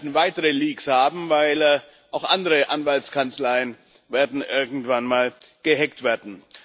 Wir werden weitere Leaks haben, weil auch andere Anwaltskanzleien irgendwann mal gehackt werden.